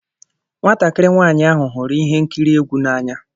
Nwatakịrị nwanyị ahụ hụrụ ihe nkiri egwu n'anya.